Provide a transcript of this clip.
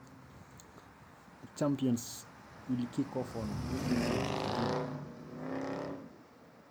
Keiteruninye Champions olapa leile ntarikin tikitam